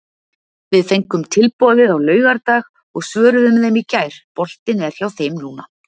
Við fengum tilboðið á laugardag og svöruðum þeim í gær, boltinn er hjá þeim núna.